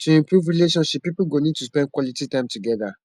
to improve relationship pipo go need to spend quality time together